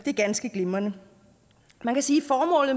ganske glimrende man kan sige